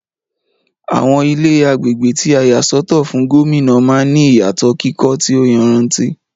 Àwọn Ilé agbègbè tí a yà sọ́tọ̀ fún Gómìnà man ní ìyàtò kíkọ́ tí o yanrantí